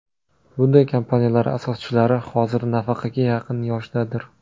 Bunday kompaniyalar asoschilari hozir nafaqaga yaqin yoshdadir.